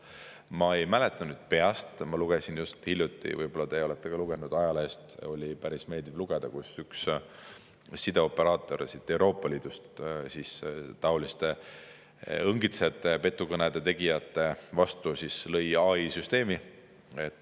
Ma ei mäleta nüüd peast, ma lugesin just hiljuti – võib-olla teie olete ka seda lugenud – ajalehest, oli päris meeldiv lugeda, et üks sideoperaator Euroopa Liidus lõi taoliste õngitsejate ja petukõnede tegijate vastu AI-süsteemi.